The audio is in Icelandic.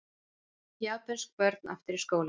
Japönsk börn aftur í skólann